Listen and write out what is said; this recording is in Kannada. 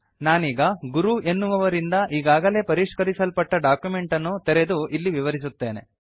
ನಾನೀಗ ಗುರು ಎನ್ನುವವರಿಂದ ಈಗಾಗಲೇ ಪರಿಷ್ಕರಿಸಲ್ಪಟ್ಟ ಡಾಕ್ಯುಮೆಂಟ್ ಅನ್ನು ತೆರೆದು ಇದನ್ನು ವಿವರಿಸುತ್ತೇನೆ